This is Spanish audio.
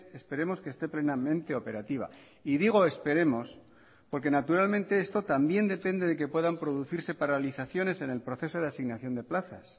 esperemos que esté plenamente operativa y digo esperemos porque naturalmente esto también depende de que puedan producirse paralizaciones en el proceso de asignación de plazas